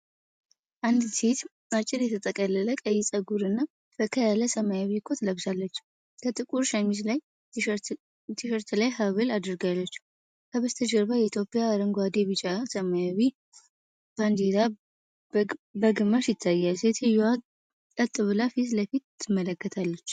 አንዲት ሴት አጭር የተጠቀለለ ቀይ ፀጉርና ፈካ ያለ ሰማያዊ ኮት ለብሳለች። ከጥቁር ሸሚዝ ላይ ትሸርት ላይ ሃብል አድርጋለች፣ ከበስተጀርባ የኢትዮጵያ አረንጓዴ፣ ቢጫና ሰማያዊ ባንዲራ በግማሽ ይታያል። ሴትየዋ ቀጥ ብላ ፊት ለፊት ትመለከታለች።